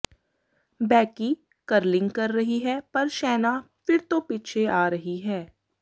Becky curling ਕਰ ਰਹੀ ਹੈ ਪਰ ਸ਼ੈਨਾ ਫਿਰ ਤੋਂ ਪਿੱਛੇ ਆ ਰਹੀ ਹੈ